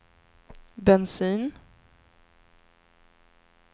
bensin